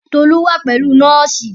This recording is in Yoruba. Tolu wa pẹ̀lú nọ́ọ̀sì